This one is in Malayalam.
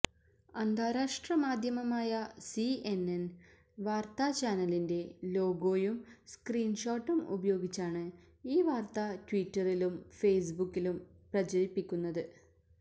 അന്താരാഷ്ട്ര മാധ്യമമായ സിഎൻഎൻ വാർത്താ ചാനലിന്റെ ലോഗോയും സ്ക്രീൻ ഷോട്ടും ഉപയോഗിച്ചാണ് ഈ വാർത്ത ട്വിറ്ററിലും ഫേസ്ബുക്കിലും പ്രചരിപ്പിക്കുന്നത്